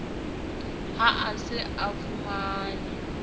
ha a se a fumane